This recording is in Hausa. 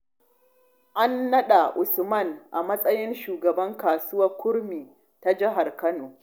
An naɗa Usman a matsayin shugaban kasuwar kurmi ta jihar kano.